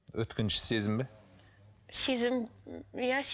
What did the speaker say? өткенші сезім бе сезім иә